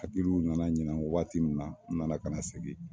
Hakiliw nana ɲina waati min na, n nana ka na segin